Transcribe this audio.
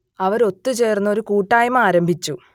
അവർ ഒത്തു ചേർന്ന് ഒരു കൂട്ടായ്മ ആരംഭിച്ചു